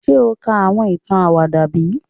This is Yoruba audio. Ṣe o ka awọn itan awada bi?